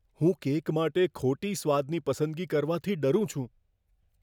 હું કેક માટે ખોટી સ્વાદની પસંદગી કરવાથી ડરું છું.